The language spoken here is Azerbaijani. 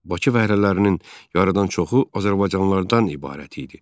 Bakı fəhlələrinin yarıdan çoxu azərbaycanlılardan ibarət idi.